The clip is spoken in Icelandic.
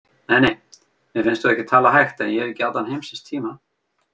Nei, nei, mér finnst þú ekki tala hægt en ég hef ekki allan heimsins tíma.